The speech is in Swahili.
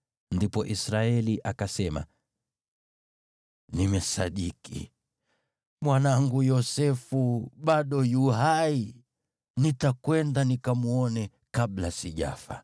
Ndipo Israeli akasema, “Nimesadiki! Mwanangu Yosefu bado yu hai. Nitakwenda nikamwone kabla sijafa.”